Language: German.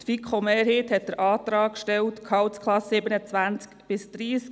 Die FiKo-Mehrheit hat den Antrag gestellt, die Gehaltsklassen 27–30 einzubeziehen.